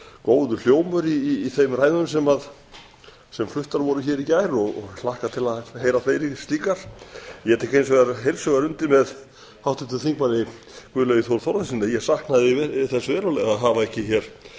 góður hljómur í þeim ræðum sem fluttar voru hér í gær og ég hlakka til að heyra fleiri slíkar ég tek hins vegar heils hugar undir með háttvirtum þingmanni guðlaugi þór þórðarsyni ég saknaði þess verulega að hafa ekki hér